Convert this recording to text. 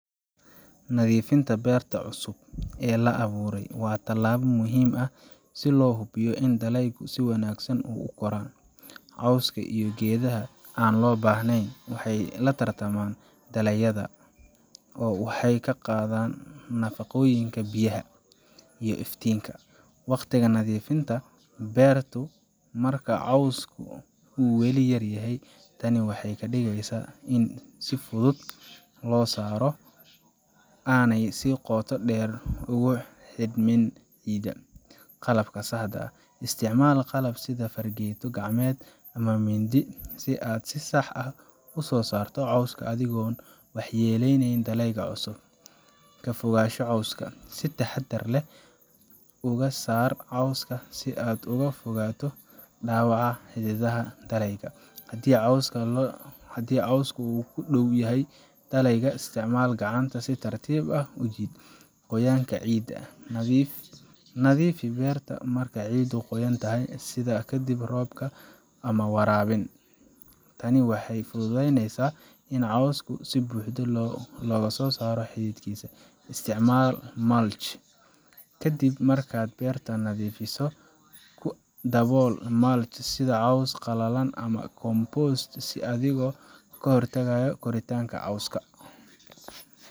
Nadiifinta beerta cusub ee la abuuray waa tallaabo muhiim ah si loo hubiyo in dalagyadu si wanaagsan u koraan. Cawska iyo geedaha aan loo baahnayn waxay la tartamaan dalagyadaada oo waxay ka qaadaan nafaqooyinka, biyaha, iyo iftiinka. Waqtiga Nadiifinta beerta marka cawska uu weli yar yahay. Tani waxay ka dhigaysaa in si fudud loo saaro oo aanay si qoto dheer ugu xidhnayn ciidda. Qalabka Saxda ah: Isticmaal qalab sida fargeeto gacmeed ama mindi si aad si sax ah uga saarto cawska adigoon waxyeeleynin dalagyada cusub. Ka Fogaanshaha Cawska: Si taxaddar leh uga saar cawska si aad uga fogaato dhaawaca xididdada dalagyada. Haddii cawska uu ku dhow yahay dalagga, isticmaal gacanta si tartiib ah u jiid. Qoyaanka Ciidda: Nadiifi beerta marka ciiddu qoyan tahay, sida ka dib roob ama waraabin. Tani waxay fududeynaysaa in cawska si buuxda looga saaro xididkiisa. Isticmaalka Mulch Ka dib markaad beerta nadiifiso, ku dabool mulch sida caws qalalan ama compost si aad uga hortagto koritaanka cawska.